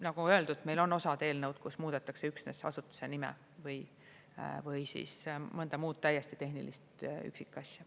Nagu öeldud, meil on osad eelnõud, kus muudetakse üksnes asutuse nime või mõnda muud täiesti tehnilist üksikasja.